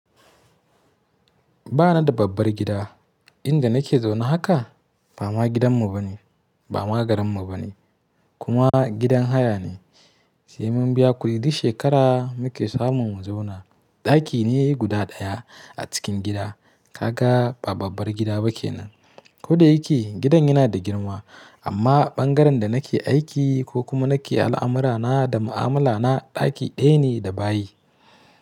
Ba na da babbar gida, inda nake zaune haka ba ma gidanmu bane, ba ma garinmu bane kuma gidan haya ne. Sai mun biya kudi duk shekara muke samun mu zauna. Ɗaki ne guda ɗaya a cikin gida, ka ga ba babbar gida ba ke nan. Ko da yake gidan yana da girma amma ɓangaren da nake aiki ko kuma nake al’amurana da ma’amala na ɗaki ɗaya ne da bayi.